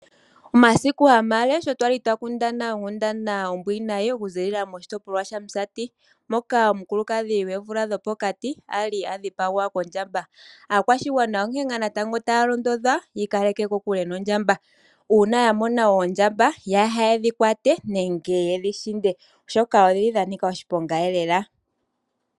Omasiku hamale sho twali twakundana onkundana ombwiinayi okuzilila moshitopolwa shaMusati. Moka omukulukadhi gweevula dhopokati ali adhipagwa kondjamba. Aakwashigwana onkene ngaa natango taya londodhwa yiikaleke kokule noondjamba. Uuna yamona oondjamba yaa hedhi kwate nenge yedhishinde oshoka odhili dhanika oshiponga lela.